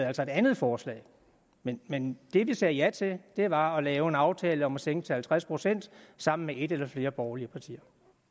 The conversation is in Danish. altså et andet forslag men men det vi sagde ja til var at lave en aftale om at sænke til halvtreds procent sammen med et eller flere borgerlige partier